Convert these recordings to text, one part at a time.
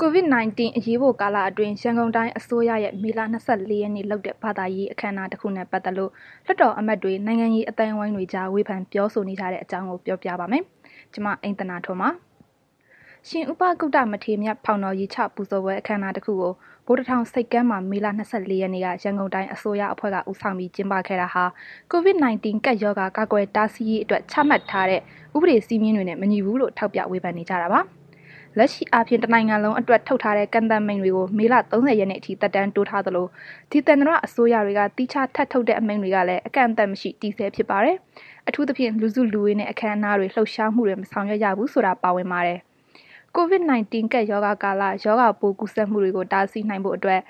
COVID-19 အရေးပေါ်ကာလအတွင်း ရန်ကုန်တိုင်းအစိုးရရဲ့ မေလ ၂၄ ရက်နေ့လုပ်တဲ့ ဘာသာရေးအခမ်းအနားတခုနဲ့ ပတ်သက်လို့ လွှတ်တော်အမတ်တွေ နိုင်ငံရေးအသိုင်းအဝိုင်းတွေအကြား ဝေဖန်ပြောဆိုနေကြတာကို ဗွီအိုအေ မြန်မာပိုင်းသတင်းထောက် မအိမ့်သန္တာထွန်းက ပြောပြပါမယ်။ ရှင်ဥပဂုတ္တ မထေမြတ် ဖောင်တော် ရေချပူဇော်ပွဲ အခမ်းအနားတစ်ခုကို ဗိုလ်တထောင် ဆိပ်ကမ်းမှာ မေလ ၂၄ ရက်နေ့က ရန်ကုန်တိုင်းအစိုးရအဖွဲ့က ဦးဆောင်ပြီး ကျင်းပခဲ့တာဟာ COVID-19 ကပ်ရောဂါကာကွယ်တားဆီးရေးအတွက် ချမှတ်ထားတဲ့ ဥပဒေစည်းမျဉ်းတွေနဲ့ မညီဘူးလို့ ထောက်ပြဝေဖန်နေကြတာပါ။ လက်ရှိအားဖြင့် တနိုင်ငံလုံးအတွက် ထုတ်ထားတဲ့ ကန့်သတ်မိန့်တွေကို မေလ ၃၀ ရက်နေ့အထိ သက်တမ်းတိုးထားသလို၊ ဒေသန္တအစိုးရတွေက သီးခြားထပ်ထုတ်တဲ့ အမိန့်တွေကလည်း အကန့်အသတ်မရှိ တည်ဆဲဖြစ်ပါတယ်။ အထူးသဖြင့် လူစုလူဝေးနဲ့ အခမ်းအနားတွေ လှုပ်ရှားမှုတွေ မဆောင်ရွက်ရဘူးဆိုတာ ပါဝင်ပါတယ်။ COVID-19 ကပ်ရောဂါကာလ ရောဂါပိုးကူးစက်မှုတွေကို တားဆီးနိုင်ဖို့အတွက်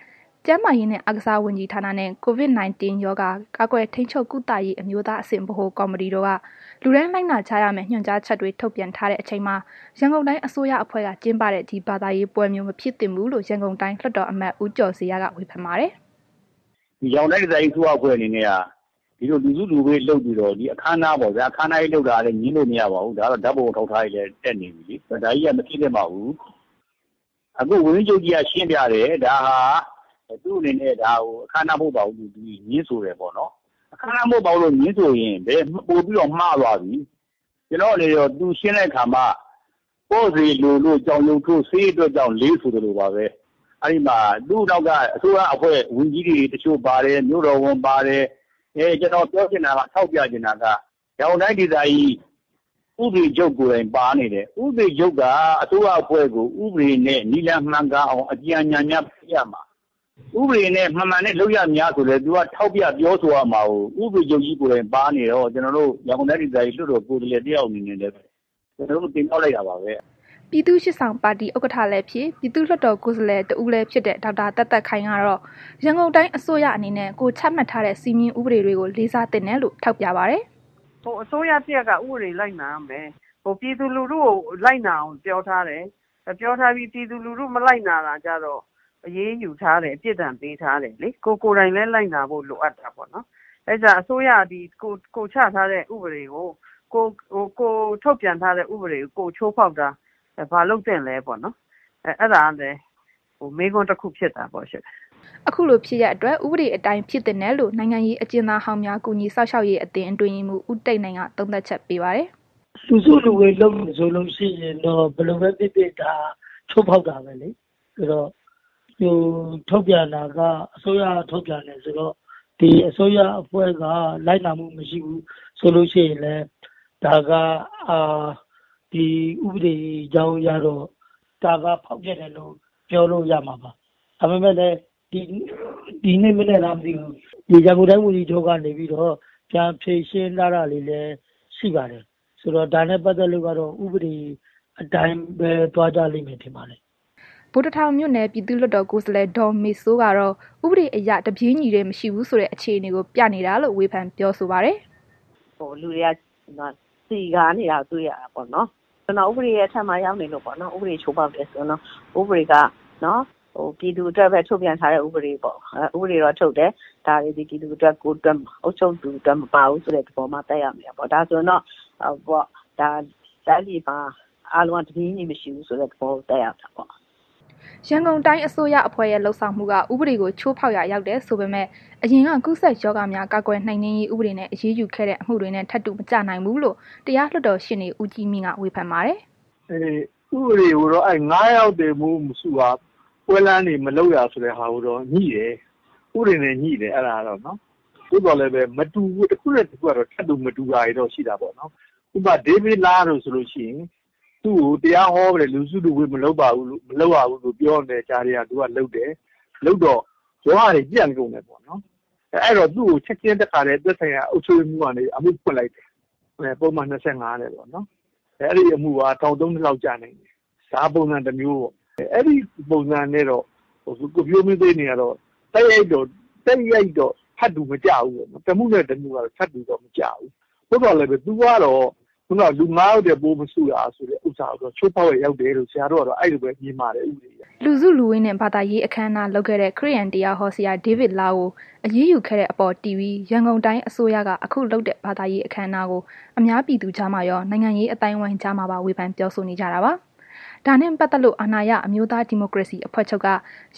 ကျန်းမာရေးနဲ့ အားကစားဝန်ကြီးဌာနနှင့် COVID-19 ရောဂါ ကာကွယ်ထိန်းချုပ် ကုသရေး အမျိုးသားအဆင့် ဗဟိုကော်မတီတို့က လူတိုင်းလိုက်နာကြရမယ့် ညွှန်ကြားချက်တွေ ထုတ်ပြန်ထားတဲ့ အချိန်မှာ ရန်ကုန်တိုင်းအစိုးရအဖွဲ့က ကျင်းပခဲ့တဲ့ ဒီဘာသာရေးပွဲမျိုး မဖြစ်သင့်ဘူးလို့ ရန်ကုန်တိုင်းလွှတ်တော်အမတ် ဦးကျော်ဇေယျက ဝေဖန်ပါတယ်။ “ရန်ကုန်တိုင်းဒေသကြီး အစိုးရအဖွဲ့အနေနဲ့က ဒီလို လူစုလူဝေးလုပ်ပြီးတော့ အခမ်းအနားပေါ့ဗျာ၊ အခမ်းအနားကြီး လုပ်တာကတော့ ငြင်းလို့မရပါဘူး၊ ဓာတ်ပုံတွေလည်း တက်နေပြီ။ ဒါကြီးက မဖြစ်သင့်ပါဘူး။ အခု ဝန်ကြီးချုပ်ကြီးက ရှင်းပြတယ်၊ ဒါဟာ သူ့အနနဲ့ ဒါဟာ အခမ်းအနားမဟုတ်ပါဘူးဆိုပြီး ငြင်းဆိုတယ်ပေါ့နှော်။ အခမ်းအနား မဟုတ်ဘူးလို့ ငြင်းဆိုရင် ပိုပြီးတော့ မှားသွားပြီ။ ကျနော်တို့လည်း သူရှင်းတဲ့ အခါမှ ပေါ့စေလိုလို့ ကြောင်ရုပ်ထိုး ဆေးအတွက်ကြောင့်လေး ဆိုသလိုပါပဲ၊ သူ့အနောက်က အစိုးရအဖွဲ့ ဝန်ကြီးတွေတစ်ချို့ ပါတယ်။ မြို့တော်ဝန်ပါတယ်။ ကျနော်ပြောချင်တာ ထောက်ပြချင်တာက ရန်ကုန်တိုင်းဒေသကြီး ဥပဒေချုပ်ကိုယ်တိုင်ပါနေတယ်။ ဥပဒေချုပ်က အစိုးရအဖွဲ့ကို ဥပဒေနဲ့အညီ နည်းလမ်းမှန်ကန်အောင် အကြံအဉာဏ်များပေးရမှာ၊ ဥပဒေနဲ့ မမှန်တဲ့လုပ်ရပ်များဆိုရင်လည်း သူက ထောက်ပြပြောဆိုရမှာ ကို ဥပဒေချုပ်ကြီးကိုယ်တိုင်ပါနေတော့ ကျနော်တို့ ရန်ကုန်တိုင်းဒေသကြီး လွှတ်တော်ကိုယ်စားလှယ်တစ်ယောက်အနေနဲ့ ကျနော်တို့တင်မြှောက်လိုက်တာပါပဲ။” ပြည်သူ့ရှေ့ဆောင်ပါတီ ဥက္ကဋ္ဌလည်းဖြစ် ပြည်သူ့လွှတ်တော်ကိုယ်စားလှယ် တဦးလည်ဖြစ်တဲ့ ဒေါက်တာသက်သက်ခိုင်ကတော့ ရန်ကုန်တိုင်းအစိုးရအနေနဲ့ ကိုယ်ချမှတ်ထားတဲ့စည်းမျဉ်းဥပဒေတွေကို လေးစားသင့်တယ်လို့ ထောက်ပြပါတယ်။ “အစိုးရ တစ်ရပ်က ဥပဒေလိုက်နာရမယ်။ ပြည်သူလူထုကို လိုက်နာအောင်ပြောထားတယ်။ ပြောထားပြီး ပြည်သူလူထု မလိုက်နာတာကျတော့ အရေးယူထားတယ်၊ ပြစ်ဒဏ်ပေးထားတယ်လေ၊ ကိုယ်တိုင်လည်း လိုက်နာဖို့လိုအပ်တာပေါ့။ အဲ့ဒါကြောင့် အစိုးရသည် ကိုယ်ချထားတဲ့ ဥပဒေတွေကို၊ ကိုယ်ထုတ်ပြန်ထားတဲ့ ဥပဒေတွေကို ကိုယ်ချိုးဖောက်တာ ဘာလုပ်သင့်လဲပေါ့နော်၊ အဲ့ဒါကလည်း မေးခွန်းတစ်ခု ဖြစ်တာပေါ့ရှင်။” အခုလို ဖြစ်ရပ်အတွက် ဥပဒေအတိုင်း ဖြစ်သင့်တယ်လို့နိုင်ငံရေး အကျဉ်းသားဟောင်းများ ကူညီစောင့်ရှောက်ရေးအသင်း အတွင်းရေးမှူး ဦးတိတ်နိုင်က သုံးသပ်ချက်ပေးပါတယ်။ “လူစုလူဝေးလုပ်တယ်ဆိုလို့ ရှိရင်တော့ ဘယ်လိုပဲ ဖြစ်ဖြစ်က ချိုးဖောက်တာပဲလေ။ ဆိုတော့ သူထုတ်ပြန်တာက အစိုးရက ထုတ်ပြန်တာဆိုတော့ ဒီအစိုးရအဖွဲ့က လိုက်နာမှုမရှိဘူးဆိုလို့ရှိရင်လည်း ဒါက ဒီဥပဒေကြောင်းအရတော့ ဒါက ဖောက်ဖျက်တယ်လို့ ပြောလို့ရမှာပါ။ ဒါပေမဲ့လည်း ဒီနေ့မနက်လားမသိဘူး ရန်ကုန်တိုင်းဝန်ကြီးချုပ်က နေပြီးတော့ ပြန်ဖြေရှင်းထားတာတွေလည်း ရှိပါတယ်။ ဆိုတော့ ဒါနဲ့ ပတ်သက်လို့ကတော့ ဥပဒေအတိုင်းပဲ သွားကြလိမ့်မယ်ထင်ပါတယ်။” ဗိုလ်တထောင်မြို့နယ် ပြည်သူ့လွှတ်တော် ကိုယ်စားလှယ် ဒေါ်မေစိုးကတော့ ဥပဒေအရ တပြေးညီတည်းမရှိဘူးဆိုတဲ့ အခြေအနေကို ပြနေတာလို့ ဝေဖန်ပြောဆိုပါတယ်။ “လူတွေကေ စည်ကားနေတဲ့ပုံတွေတွေ့ရတယ်ပေါ့နော်။ ဥပဒေရဲ့ အထက်မှာရောက်နေလို့ပေါ့နော်၊ ဥပဒေချိုးဖောက်တယ်ဆိုရင်တော့ ဥပဒေက ပြည်သူအတွက်ပဲ ထုတ်ပြန်ထားတဲ့ ဥပဒေပေါ့။ ဥပဒေတော့ထုတ်တယ်။ ဒါပေမဲ့ ဒါက ပြည်သူအတွက် အုပ်ချုပ်သူအတွက် မပါဘူးဆိုတဲ့သဘော သက်ရောက်နေတာပေါ့။ ဒါဆိုတော့ အားလုံးက တိုင်းပြည်မှာ တပြေးညီမရှိဘူးဆိုတဲ့ သဘောကိုသက်ရောက်တာပေါ့။” ရန်ကုန်တိုင်း အစိုးရအဖွဲ့ရဲ့ လုပ်ဆောင်မှုက ဥပဒေကို ချိုးဖောက်ရာ ရောက်တယ်ဆိုပေမယ့် အရင်က ကူးစက်ရောဂါများ ကာကွယ်နှိမ်နှင်းရေး ဥပဒေနဲ့ အရေးယူခဲ့တဲ့ အမှုတွေနဲ့ ထပ်တူမကျနိုင်ဘူးလို့ တရားလွှတ်တော်ရှေ့နေ ဦးကြီးမြင့်က ဝေဖန်ပါတယ်။ “အင်း... ဥပဒေကိုတော့ ၅ ယောက်ထက်ပို မစုရ၊ ပွဲလမ်းတွေ မလုပ်ရဆိုတဲ့ဟာကိုတော့ ငြိတယ်။ ဥပဒေနဲ့ ငြိတယ် အဲ့ဒါကတော့။ သို့သော်လည်းပဲ တစ်ခုနဲ့ တစ်ခုကတော ထပ်တူမညီတာမျိုးတော့ ရှိတာပေါ့နှော်။ ဥပမာ ဒေးဗစ်လားတို့ဆိုလို့ရှိရင် သူ့ကို တရားဟောတာ လူစုလူဝေး မလုပ်ရပါဘူးလို့ ပြောနေတဲ့ ကြားထဲကကို သူကလုပ်တယ်။ လုပ်တော့ ရောဂါတွေ ပြန်ကုန်တာပေါ့နှော်။ အဲ့တော့သူကို ချက်ချင်း သက်ဆိုင်ရာနဲ့ အုပ်ချုပ်ရေးမှူးကနေပြီးတော့ အမှုဖွင့်လိုက်တယ်။ ပုဒ်မ ၂၅ နဲ့ပေါ့နော်။ အဲ့ဒီအမှုက ထောင် ၃ နှစ်လောက်ကျနိုင်တယ်။ ဒါက ပုံစံတစ်မျိုးပေါ့။ အဲ့ဒီပုံစံနဲ့တော့ ကိုဖြိုးမင်းသိန်းနဲ့ကတော့ တိုက်ရိုက်တော့ ထပ်တူမကျဘူး၊ တစ်မှုနဲ့ တစ်မှုနဲ့ ကတော့ ထပ်တူမကျဘူး။ သို့သော်လည်းပဲ သူကတော့ ခုဏက လူ ၅ ယောက်ထက်ပိုမစုရဆိုတာကိုတော့ ချိုးဖောက်ရာရောက်တယ်လို့ ကျနော်တို့ကတော့ အဲ့လိုပဲ မြင်ပါတယ်။” လူစုလူဝေးနဲ့ ဘာသာရေး အခမ်းအနားလုပ်ခဲ့တဲ့ ခရစ်ယာန်တရားဟောဆရာ ဒေးဗစ်လား ကို အရေးယူခဲ့တဲ့အပေါ် တည်ပြီး ရန်ကုန်တိုင်းအစိုးရက အခုလုပ်တဲ့ ဘာသာရေးအခမ်းအနားကို အများပြည်သူကြားမှာရော နိုင်ငံရေး အသိုင်းအဝိုင်းကြားမှာပါ ဝေဖန်ပြောဆိုကြတာပါ။ ဒါနဲ့ ပတ်သက်လို့ အာဏာရ အမျိုးသားဒီမိုကရေစီအဖွဲ့ချုပ်က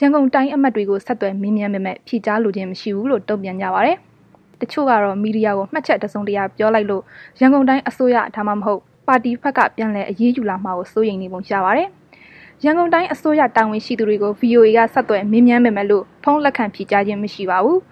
ရန်ကုန်တိုင်းအမတ်တွေကို ဆက်သွယ်မေးမြန်းပေမဲ့ ဖြေကြားလိုခြင်း မရှိဘူးလို့တုံ့ပြန်ကြပါတယ်။ တချို့ကတော့ မီဒီယာကိုမှတ်ချက်တစုံတရာပြောလိုက်လို့ ရန်ကုန်တိုင်းအစိုးရ သို့မဟုတ် ပါတီဘက်က ပြန်လည်အရေးယူလာမှာကို စိုးရိမ်နေပုံရပါတယ်။ ရန်ကုန်တိုင်းအစိုးရ တာဝန်ရှိသူတွေကို VOA က ဆက်သွယ်မေးမြန်းပေမဲ့လို့ ဖုန်း လက်ခံဖြေကြားခြင်းမရှိပါဘူး။